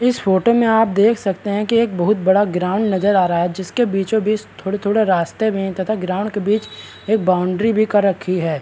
इस फोटो में आप देख सकते हैं की एक बहुत बड़ा ग्राउंड नजर आ रहा है जिसके बीचों-बीच थोड़ा-थोड़ा रास्ते में तथा ग्राउंड के बीच एक बॉउंड्री भी कर रखी है।